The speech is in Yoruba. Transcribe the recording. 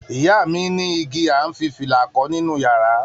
Iya mi ní igi à ń fi fìlà kọ́ nínú yàrá.